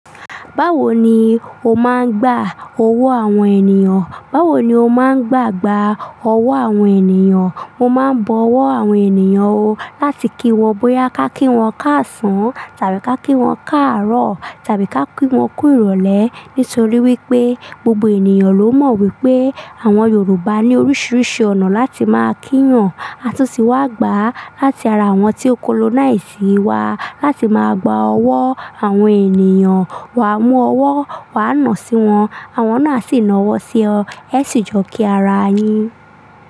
Báwo ni o máa ń gbà owó àwọn ènìyàn? Báwo ni o máa ń gbàgbà owó àwọn ènìyàn? Mo máa ń bọ owó àwọn ènìyàn ó láti kí wọ́n bóyá ká kí wọ́n káàsán tàbí ká kí wọ́n káàárọ̀ tàbí ká kí wọ́n kú ìrọ̀lẹ́ nítorí wípé gbogbo ènìyàn ló mọ̀ wípé àwọn Yorùbá ní oríṣiríṣi ọ̀nà láti máa kí yan. A tún ti wá gbà láti ara àwọn tí ó colonize wa láti máa gbà owó àwọn ènìyàn. Wa mú owó, wa nà sí wọn, àwọn náà sì ń ná owó sí ọ, e si jọ kí ara yin.